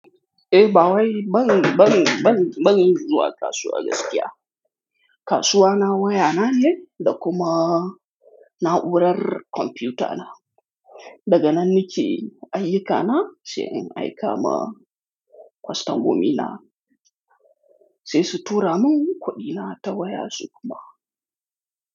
Eh, bawai ban, ban, ban zuwa kasuwa gaskiya. Kasuwa na waya nane, da kuma na'urar kwamfuta na. Daga nan nake ayyukana sai in aika ma kwastomomi na, sai su tura man kuɗina ta waya su kuma.